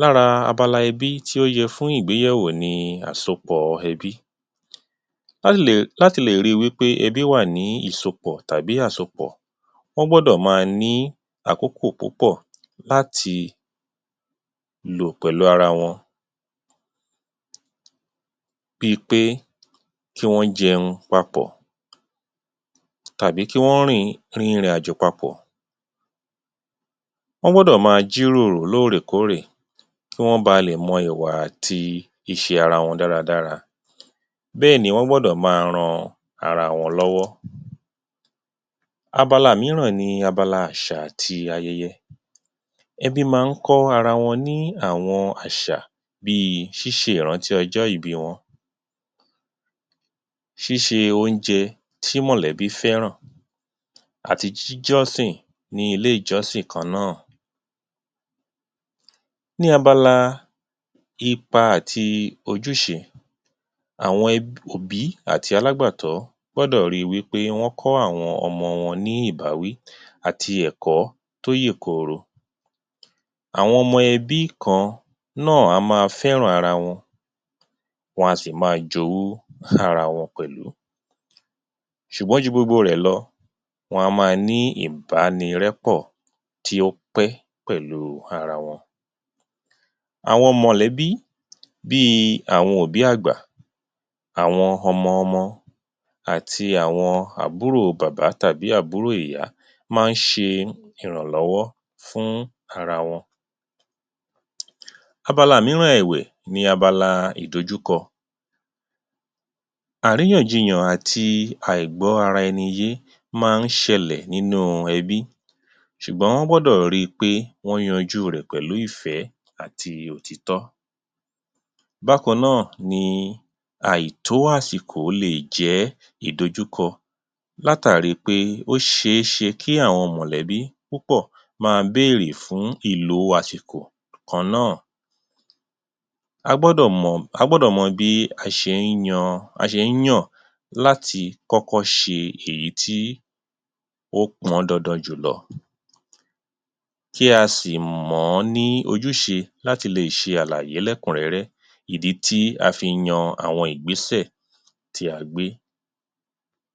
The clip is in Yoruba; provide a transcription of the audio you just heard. Lára abala ẹbí tí ó yẹ fún ìgbéyẹ̀wọ̀ ni àsopọ̀ ẹbí, láti lè ri wí pé ẹbí wà ní ìsopọ̀ tàbí àsopọ̀, wọ́n gbọ́dọ̀ máa ní àkókọ̀ púpọ̀ láti lò pẹ́lù ara wọn, bí ń pé kí wọ́n jẹun papọ̀, tàbí kí wọ́n rin ìrìnàjò papọ̀, wọ́n gbọ́dọ̀ máa jíròrò lórèkórè kí wọ́n ba lè mọ ìwà àti ìṣe ara wọn dáradára, bẹ́ẹ̀ ni, wọ́n gbọ́dọ̀ máa ran ara wọn lọ́wọ́. Abala mìíran ni abala àṣà àti ayẹyẹ, ẹbí máa ń kọ́ ara wọ́n ní àwọn àṣà bí i ṣíṣe ìrántí ọjọ́ ìbí wọn, ṣíṣe oúnjẹ tí mọ̀lẹ́bí fẹ́ràn àti jíjọ́sìn ní ilé-ìjọ́sìn kan nàá. Ní abala ipa àti ojúṣe, àwọn òbí àti alágbàtọ́ gbọ́dọ̀ rí wí pé wọ́n kọ́ àwọn ọmọ wọ́n ní ìbáwí àti ẹ̀kọ́ tó yèkoro. Àwọn ọmọ ẹbí kan náà á máa fẹ́ràn ara wọn, wa sì máa jowú ara wọn pẹ̀lú ṣùgbọ́n ju gbogbo rẹ̀ lọ, wá máa ní ìbánirẹ́pọ́ tí ó pẹ́ pẹ̀lú ara wọn. Àwọn mọ̀lẹ́bí bí àwọn òbí àgbà, àwọn ọmọ-ọmọ àti àwọn àbúrò bàbá tàbí àbúrò ìyá máa ń ṣe ìrànlọ́wọ́ fún ara wọn, abala mìíràn ẹ̀wẹ̀ ni abala ìdójúkọ, àríyànjiyàn àti àìgbọ́ ara ẹni yé máa ń ṣẹlẹ̀ nínú ẹbí ṣùgbọ́n wọ́n gbọ́dò ri pé wọ́n yanjú rẹ̀ pẹ̀lú ìfẹ́ àti òtítọ́. Bákan náà ni àìtó àsìkò lè jẹ́ ìdojúkọ látàri pé ó ṣeṣe kí àwọn mọ̀lẹ́bí púpọ̀ máa bérè fún ìlò àsìkò kan náà, a gbọ́dọ̀ mọ a gbọ́dọ̀ mọ bí a ṣe ń yan a ṣe ń yàn láti kọ́kọ́ ṣe ìyí tí ó pọn dandan jùlọ, kí a sì mọ̀ ọ́ ní ojúṣe láti lè ṣe àlàyé lẹ́kùnrẹ́rẹ́, ìdí tí a fi yan àwọn ìgbésẹ̀ tí a gbé.